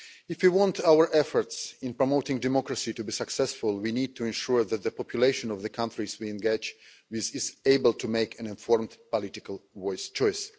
If we want our efforts in promoting democracy to be successful, we need to ensure that the population of the countries we engage with is able to make an informed political choice.